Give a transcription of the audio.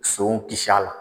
Sow kisi a la.